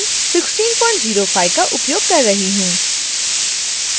koha version 1605 का उपयोग कर रही हूँ